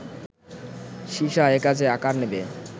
সীসা একা যে আকার নিবে